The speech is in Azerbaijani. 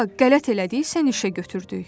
Qələt elədi, səni işə götürdük.